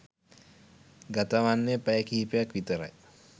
ගතවෙන්නෙ පැය කිහිපයක් විතරයි